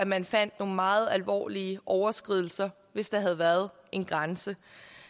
man fandt nogle meget alvorlige overskridelser hvis der havde været en grænse